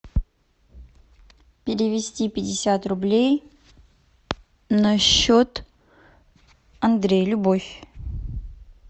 перевести пятьдесят рублей на счет андрей любовь